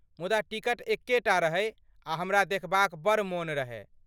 मुदा टिकट एक्केटा रहै आ हमरा देखबाक बड़ मोन रहए।